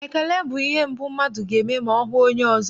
Ekele bụ ihe mbụ mmadụ ga-eme ma ọ hụ onye ọzọ.